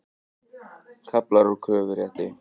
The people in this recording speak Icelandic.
Kaflar úr kröfurétti.